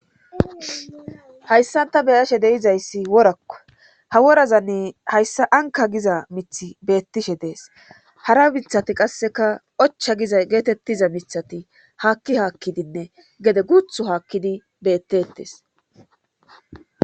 Hayssan ta beyashe deizayssi worakka ha worazanni hayssa anka giza mithi beettishe dees hara mithati qasseka ocha giza geetettiza mithati haakki haakkidinne gede guuthu haakkidi bettettes.